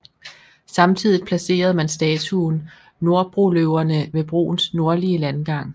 Samtidigt placerede man statuen Norrbroløverne ved broens nordlige landgang